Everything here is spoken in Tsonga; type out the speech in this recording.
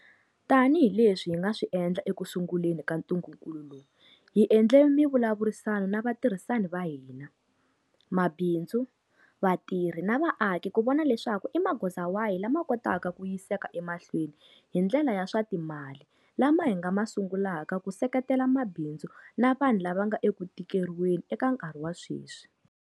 Tanihi leswi hi nga swi endla ekusunguleni ka ntungukulu lowu, hi endle mivulavurisano na vatirhisani va hina, mabindzu, vatirhi na vaaki ku vona leswaku i magoza wahi lama kotaka ku yiseka emahlweni hi ndlela ya swa timali lama hi nga ma sungulaka ku seketela mabindzu na vanhu lava nga eku tikeriweni eka nkarhi wa sweswi.